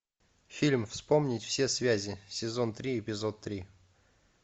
фильм вспомнить все связи сезон три эпизод три